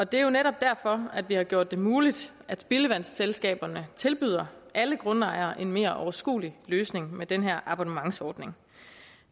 det er jo netop derfor vi har gjort det muligt at spildevandsselskaberne tilbyder alle grundejere en mere overskuelig løsning med den her abonnementsordning